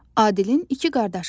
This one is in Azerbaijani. Adilin iki qardaşı var.